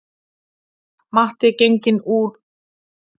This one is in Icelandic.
Matti genginn þeim úr greipum og heilt sextugsafmæli farið í vaskinn